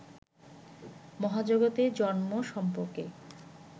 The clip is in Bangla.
মহাজগতের জন্ম সম্পর্কে